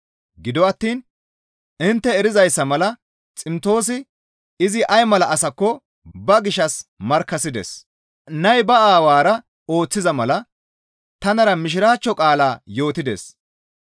Gido attiin intte erizayssa mala Ximtoosi izi ay mala asakko ba gishshas markkasides. Nay ba aawara ooththiza mala tanara Mishiraachcho qaalaa yootides.